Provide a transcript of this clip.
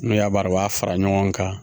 N'o y'a baro a fara ɲɔgɔn kan